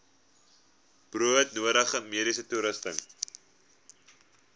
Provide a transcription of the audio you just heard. broodnodige mediese toerusting